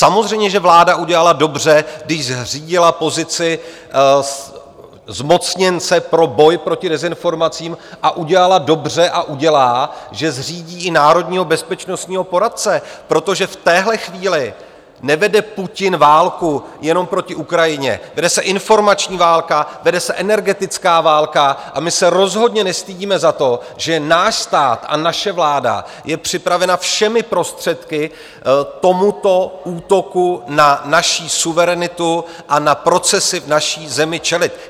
Samozřejmě že vláda udělala dobře, když zřídila pozici zmocněnce pro boj proti dezinformacím, a udělala dobře a udělá, že zřídí i národního bezpečnostního poradce, protože v téhle chvíli nevede Putin válku jenom proti Ukrajině, vede se informační válka, vede se energetická válka a my se rozhodně nestydíme za to, že náš stát a naše vláda je připravena všemi prostředky tomuto útoku na naši suverenitu a na procesy v naší zemi čelit.